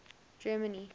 germany